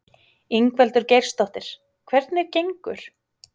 Ingveldur Geirsdóttir: Hvernig gengur?